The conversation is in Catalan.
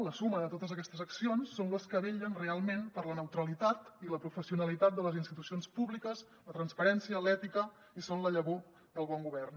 la suma de totes aquestes accions són les que vetllen realment per la neutralitat i la professionalitat de les institucions públiques la transparència l’ètica i són la llavor del bon govern